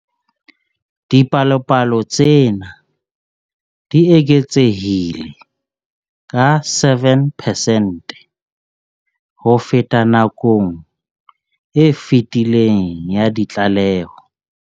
Dipalopalo tsena di eketsehile ka 7 percent ho feta nakong e fetileng ya ditlaleho.